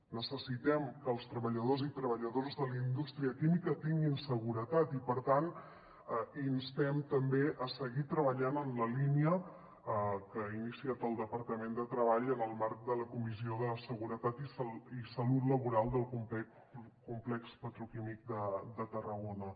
necessitem que els treballadors i treballadores de la indústria química tinguin seguretat i per tant instem també seguir treballant en la línia que ha iniciat el departament de treball en el marc de la comissió de seguretat i salut laboral del complex petroquímic de tarragona